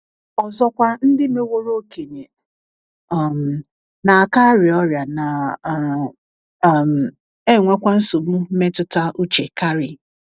Ọzọkwa, ndị meworo okenye.. um. na - aka arịa ọrịa, na um - um enwekwa nsogbu mmetụta uche karị.